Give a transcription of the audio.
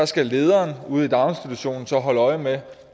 skal lederen ude i daginstitutionen så holde øje med